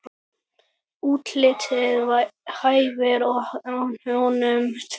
Útlitið hæfir honum því.